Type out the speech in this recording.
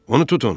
Onu tutun!